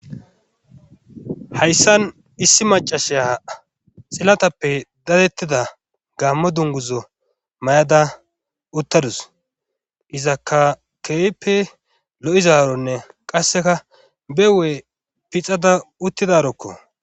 Hayssan issi macashya xillatappe dadettida gaammo dunguzo may'ada uttadus iza ka keeppe lo'izaaronne qasseka bewee pixada uttidarokko.